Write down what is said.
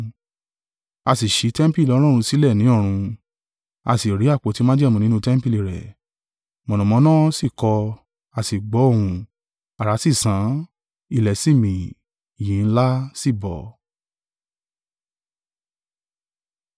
A sì ṣí tẹmpili Ọlọ́run sílẹ̀ ní ọ̀run, a sì ri àpótí májẹ̀mú nínú tẹmpili rẹ̀. Mọ̀nàmọ́ná sì kọ, a sì gbọ́ ohùn, àrá sì sán, ilẹ̀ sì mi, yìnyín ńlá sì bọ́.